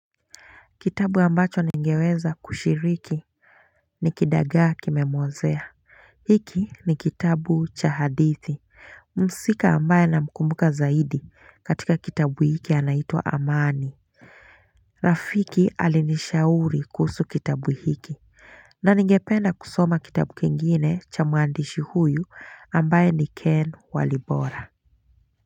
Kitabu ambacho ningeweza kushiriki ni kidagaa kimemuozea hiki ni kitabu cha hadithi muhusika ambaye na mkumbuka zaidi katika kitabu hiki anaitwa amani Rafiki alinishauri kuhusu kitabu hiki na ningependa kusoma kitabu kingine cha muandishi huyu ambaye ni Ken Walibora.